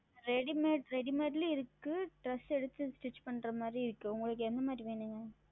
ReadymadeReadymade லையும் இருக்கு Dress எடுத்து Stich செய்வது போலும் உள்ளது உங்களுக்கு எந்த மாதிரி வேண்டும்